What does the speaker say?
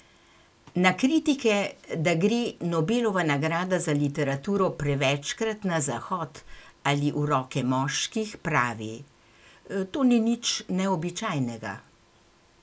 Na kritike, da gre Nobelova nagrada za literaturo prevečkrat na zahod ali v roke moških, pravi: 'To ni nič neobičajnega.